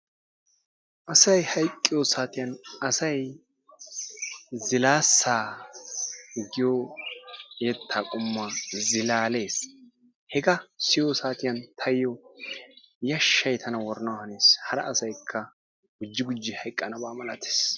Asay hayqqiyosaatiyan asay zilaassaa giyo yettaa qommuwa zilaallees. Hegaa siyiyosaatiyan taayo yashshay tana worana hanees hara asaykka gujji gujji hayqqanaba malattees.